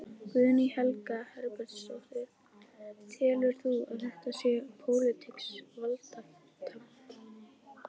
Guðný Helga Herbertsdóttir: Telur þú að þetta sé pólitískt valdatafl?